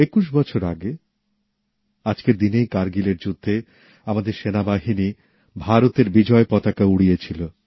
একুশ বছর আগে আজকের দিনেই কারগিলের যুদ্ধে আমাদের সেনাবাহিনী ভারতের বিজয় পতাকা উড়িয়েছিল